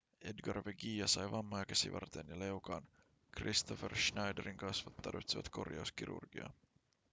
edgar veguilla sai vammoja käsivarteen ja leukaan kristoffer schneiderin kasvot tarvitsivat korjauskirurgiaa